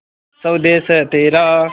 स्वदेस है तेरा